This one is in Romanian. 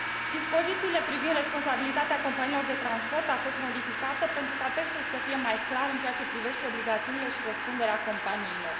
Dispozițiile privind responsabilitatea companiilor de transport au fost modificate, pentru ca textul să fie mai clar în ceea ce privește obligațiile și răspunderea companiilor.